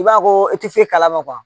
I b'a ko i tɛ fe kalama